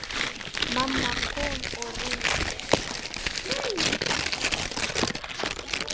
Mamma kom og reyndi.